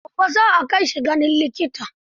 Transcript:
Gobe za a kai shi ganin likita.